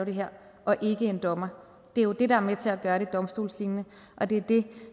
det her og ikke en dommer det er jo det der er med til at gøre det domstolslignende og det er det